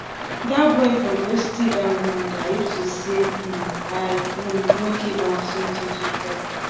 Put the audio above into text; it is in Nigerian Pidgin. dat boy for go steal dat woman garri if to say say um i um no give am something to chop